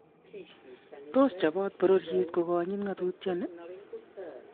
Tos chobot bororiet ko kanyit ng'atutieni?